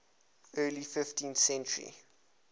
early fifteenth century